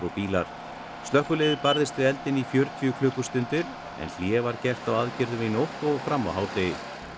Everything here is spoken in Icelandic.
bílar slökkviliðið barðist við eldinn í fjörutíu klukkustundir en hlé var gert á aðgerðum í nótt og fram á hádegi